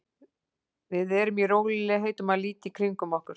Við eru í rólegheitum að líta í kringum okkur.